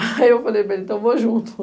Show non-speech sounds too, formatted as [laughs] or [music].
Aí eu falei para ele, então eu vou junto. [laughs]